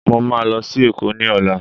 Mo máa lọ sí èkó ní ọ̀la